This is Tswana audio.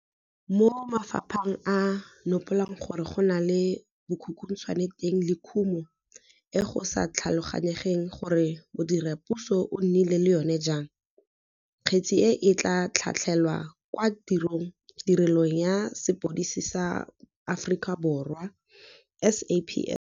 Mo mafapha a nopolang gore go na le bokhukhuntshwane teng le khumo e go sa tlhaloganyegeng gore modiredipuso o nnile le yona jang, kgetse eo e tla tlhatlhelwa kwa Tirelong ya Sepodisi sa Aforika Borwa, SAPS.